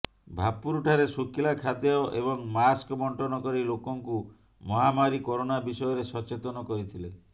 ଭାପୁର ଠାରେ ଶୁଖିଲା ଖାଦ୍ୟ ଏବଂ ମାସ୍କ ବଣ୍ଟନ କରି ଲୋକଙ୍କୁ ମହାମାରୀ କରୋନା ବିଷୟରେ ସଚେତନ କରିଥିଲେ